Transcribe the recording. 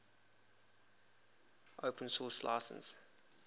open source license